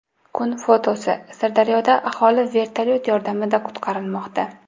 Kun fotosi: Sirdaryoda aholi vertolyot yordamida qutqarilmoqda.